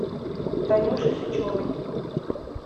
танюши сычевой